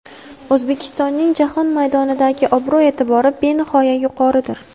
O‘zbekistonning jahon maydonidagi obro‘-e’tibori benihoya yuqoridir.